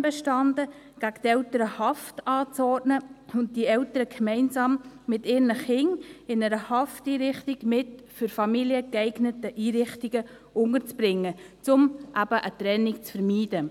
bestand darin, gegen die Eltern Haft anzuordnen und diese Eltern gemeinsam mit ihren Kindern in einer Hafteinrichtung mit für Familien geeigneten Einrichtungen unterzubringen, um eben eine Trennung zu vermeiden.